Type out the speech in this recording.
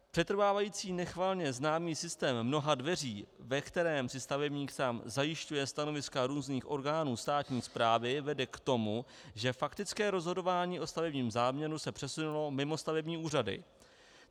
Přetrvávající nechvalně známý systém mnoha dveří, ve kterém si stavebník sám zajišťuje stanoviska různých orgánů státní správy, vede k tomu, že faktické rozhodování o stavebním záměru se přesunulo mimo stavební úřady.